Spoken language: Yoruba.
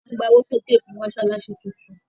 À ń gba owó sókè fún Mọ́ṣáláṣí tún tún